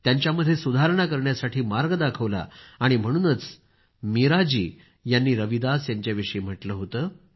त्यांच्यामध्ये सुधारणा करण्यासाठी मार्ग दाखवला आणि म्हणूनच मीरा जी यांनी रविदास यांच्याविषयी म्हटलं होतं